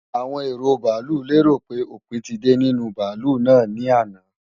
Awon ero baalu léròpé òpin ti de ni ninu baalu naa ni àná.